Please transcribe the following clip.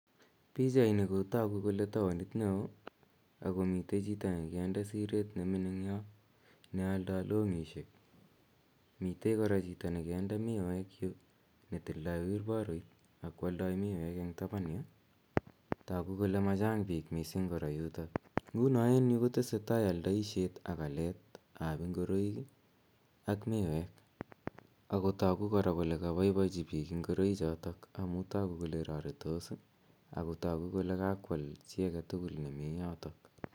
Pichaini ko tagu kole taonit neo ago mite chito agenge ne gonde siret ne mining yo ne aldoi longisiek. Mite kora chito ne konde miwek yu ne tindoi wilparoit ne tildo miwek eng taban yu. Tagu kole machang biik mising kora yuto yu. Nguno en yu ko tesetai aldoisiet ak aletab ngoroik ak miwek ago tagu kora kole kabaichi biik ngoraichotok amu tagu kole raritos ago tagu kole kakwal chi age tugul nemi yoto.